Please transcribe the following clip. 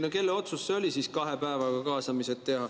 No kelle otsus siis oli teha kaasamised kahe päevaga?